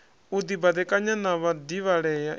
u dibadekanya na vhadivhalea i